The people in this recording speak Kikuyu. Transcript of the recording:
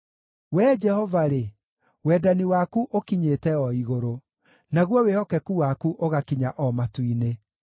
Wee Jehova-rĩ, wendani waku ũkinyĩte o igũrũ, naguo wĩhokeku waku ũgakinya o matu-inĩ.